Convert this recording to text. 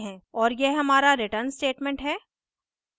और यह हमारा return statement है